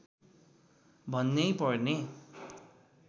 भन्नै पर्ने